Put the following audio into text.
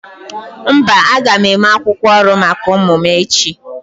Mba, aga m eme akwukwo ọrụ maka ụmụ ụmụ m echi